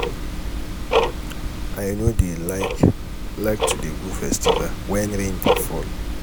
i no dey like like to dey go festival wen rain dey fall.